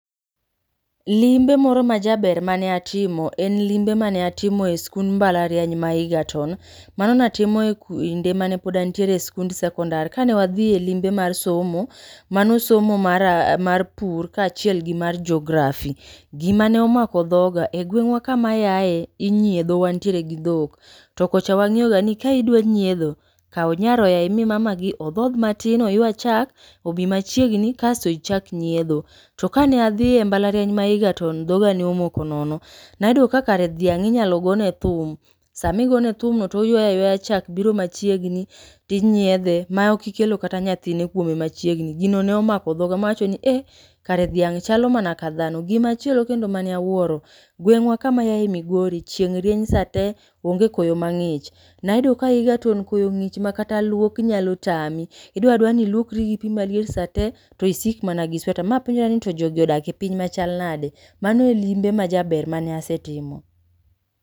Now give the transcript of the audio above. Limbe moro ma jaber mane atimo, en limbe mane atimo e skund mbalariany ma Egerton. Mano natimo e kinde mane pod antiere e skund sekondar. Kane wadhi e limbe mar somo, mano somo mara mar pur kaachiel gi mar Geography. Gima ne omako dhoga, e gweng'wa kama ayae inyiedho wantiere gi dhok. To kocha wang'iyoga ni ka idwa nyiedho, kaw nyaroya imi mama gi odhodh matin oywa chak obi machiegni kaeto ichak nyiedho. To kane adhi e mbalariany ma Egerton, dhoga ne omoko nono. Nayudo ka kare dhiang' inyalo gone thum, samigone thum no toywaya ywaya chak biro machiegni tinyiedhe ma ok ikelo kata nyathine kuome machigni. Gino ne omako dhoga mawacho ni eeh, kare dhiang' chalo mana ka dhano. Gimachielo kendo mane awuoro, gweng'wa kamayae Migori chieny rienye sa te, onge koyo mang'ich. Nayudo ka Egerton koyo ng'ich ma kata luok nyalo tami. Idwara dwara ni iluokri gi pi maliet sate, to isik mana gi sweta. Ma apenjra ni to jogi odak e piny machal nade? Mano e limbe majaber mane asetimo.